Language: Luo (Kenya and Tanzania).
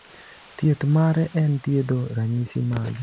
Thieth mare en thiedho ranyisi mage.